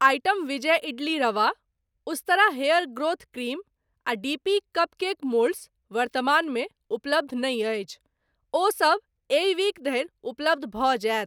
Item Vijay idli rava, Ustraa hair growth cream आ D P cupcake moulds वर्तमानमे उपलब्ध नहि अछि, ओ सब एहि वीक धरि उपलब्ध भ जायत।